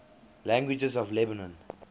languages of lebanon